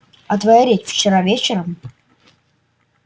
а твоя речь вчера вечером